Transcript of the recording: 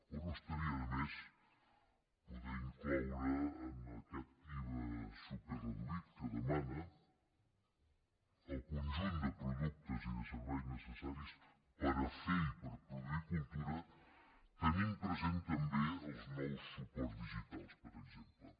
o no estaria de més poder incloure en aquest iva superreduït que demana el conjunt de productes i de serveis necessaris per a fer i per a produir cultura tenint present també els nous suports digitals per exemple